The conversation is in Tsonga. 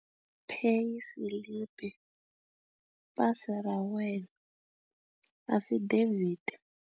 Pay slip, pasi ra wena, affidavit.